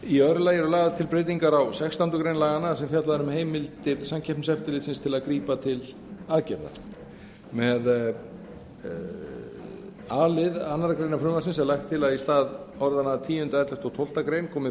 í öðru lagi eru lagðar til breytingar á sextándu grein laganna þar sem fjallað er um heimildir samkeppniseftirlitsins til að grípa til aðgerða með a lið annarrar greinar frumvarpsins er lagt til að í stað orðanna tíunda ellefta og tólftu grein komi